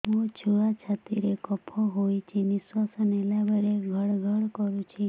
ମୋ ଛୁଆ ଛାତି ରେ କଫ ହୋଇଛି ନିଶ୍ୱାସ ନେଲା ବେଳେ ଘଡ ଘଡ କରୁଛି